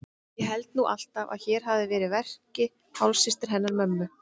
Ég held nú alltaf að hér hafi verið að verki hálfsystir hennar mömmu.